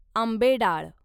आंबेडाळ